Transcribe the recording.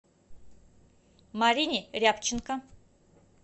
марине рябченко